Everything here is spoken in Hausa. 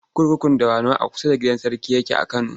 Kurkukun Dawanau a kusa da gidan sarki yake a Kano.